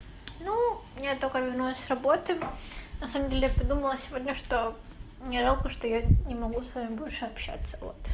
ну я только вернулась с работы на самом деле я придумала сегодня что мне жалко что я не могу с вами больше общаться